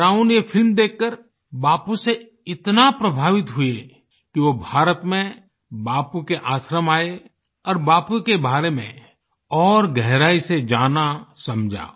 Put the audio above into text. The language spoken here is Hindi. ब्राउन ये फिल्म देखकर बापू से इतना प्रभावित हुए कि वो भारत में बापू के आश्रम आये और बापू के बारे में और गहराई से जानासमझा